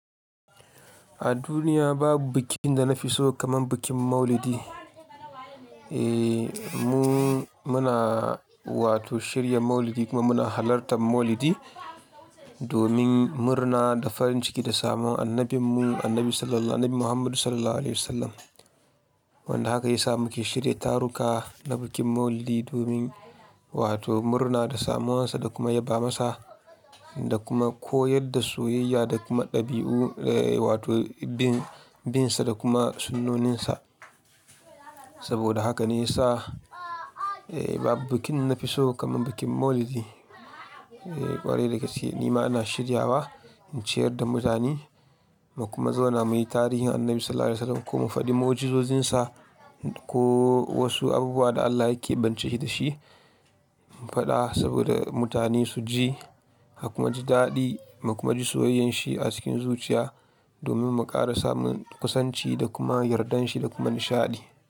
A duniya babu bikin da na fi so kamar bikin Maulidi. Eee, mu muna wato shirya Maulidi kuma muna halartan Maulidi domin murna da farin ciki da samun annabinmu annabi Sallallahu Nabi Muhammadu Sallallahu Alaihi Wasallam. Wanda haka ya sa muke shirya taruka na bikin Maulidi domin wato murna da samuwansa da kuma yaba masa da kuma koyar da soyayya da kuma ɗabi'u eh wato bin bin sa da kuma sunnoninsa. Saboda haka ne ya sa eh babu bikin na fi so kamar bikin Maulidi. Eh ƙwarai da gaske ni ma ina shirya wa in ciyar da mutane mu kuma zauna muyi tarihin annabi Sallallahu Alaihi Wasallam ko mu faɗi mu, ujiizozinsa ko wasu abubuwa da Allah yake bance shi da shi mu faɗa saboda mutane su ji su kuma ji daɗi mu kuma ji soyayyan shi a cikin zuciya domin mu ƙara samun kusanci da kuma yardanshi da kuma nishaɗi.